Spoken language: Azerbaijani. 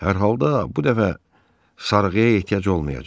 Hər halda bu dəfə sarğıya ehtiyac olmayacaq.